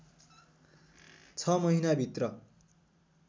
छ महिनाभित्र